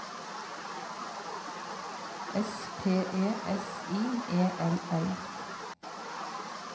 S P E S I E L L